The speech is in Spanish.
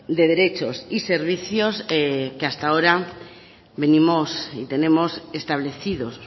de derechos y servicios que hasta ahora venimos y tenemos establecidos